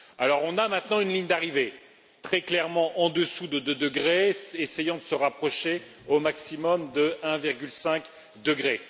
Nous avons maintenant une ligne d'arrivée, très clairement en dessous de 2 degrés, en essayant de se rapprocher au maximum de 1,5 degré.